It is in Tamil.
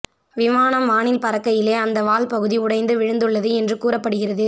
விமானம் வானில் பறக்கையிலேய அந்த வால் பகுதி உடைந்து விழுந்துள்ளது என்று கூறப்படுகிறது